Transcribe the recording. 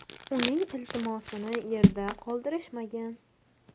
Uning iltimosini yerda qoldirishmagan.